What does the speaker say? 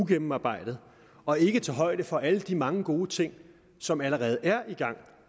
gennemarbejdet og ikke tager højde for alle de mange gode ting som allerede er i gang